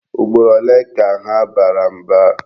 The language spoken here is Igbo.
Ugboro ole ka ha bara mba?